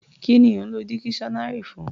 Kí ni ò ń lọ dikiṣọ́nárì fún?